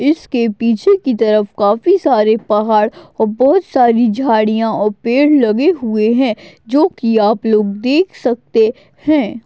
इसके पीछे की तरफ काफी सारे पहाड़ और बहुत सारी झाड़ियां और पेड़ लगे हुए हैं जो कि आप लोग देख सकते हैं।